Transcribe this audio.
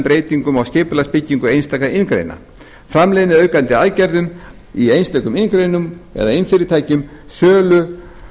breytingum á skipulagsbyggingu einstakra iðngreina framleiðniaukandi aðgerðum í einstökum iðngreinum eða iðnfyrirtækjum sölu